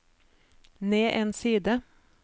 ned en side